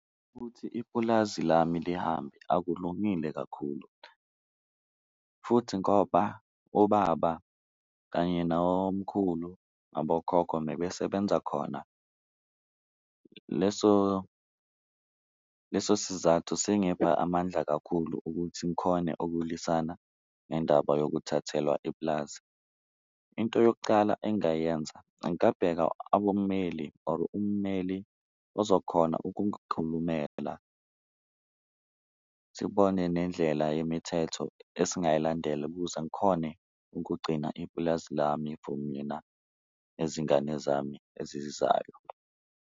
Ukuthi ipulazi lami lihambe akulungile kakhulu futhi ngoba ubaba kanye nabomkhulu abokhokho bebesebenza khona, leso leso sizathu sengepha amandla kakhulu ukuthi ngikhone ukulisana nendaba yokuthathelwa ipulazi. Into yokucala engayenza abommeli or umeli ozokhona ukungikhulumela, sibone nendlela yemithetho esingayilandela ukuze ngikhone ukugcina ipulazi lami for mina nezingane zami ezizayo.